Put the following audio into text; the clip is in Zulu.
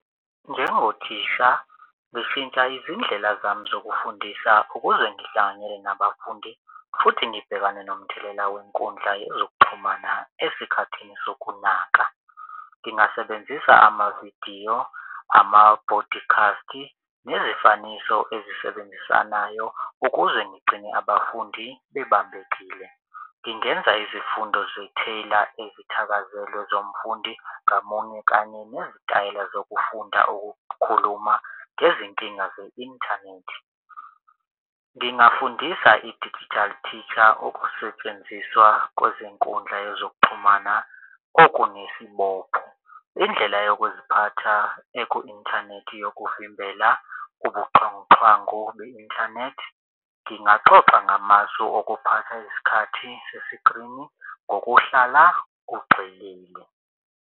Njengothisha ngishintsha izindlela zami zokufundisa ukuze ngihlanganyele nabafundi futhi ngibhekane nomthelela wenkundla yezokuxhumana esikhathini sokunaka. Ngingasebenzisa amavidiyo amabhodikhasti nezifaniso ezisebenzisanayo ukuze ngigcine abafundi bebambekile. Ngingenza izifundo ezithakazelwe zomfundi ngamunye kanye nezitayela zokufunda ukukhuluma ngezinkinga ze-inthanethi. Ngingafundisa i-digital teacher ukusetshenziswa kwezinkundla yezokuxhumana okunesibopho. Indlela yokuziphatha eku-inthanethi yokuvimbela ubuxhwanguxhwangu be-inthanethi ngingaxoxa ngamasu okuphatha isikhathi sesikrini ngokuhlala kugxilile.